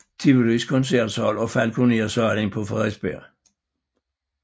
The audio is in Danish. Tivolis Koncertsal og Falconer Salen på Frederiksberg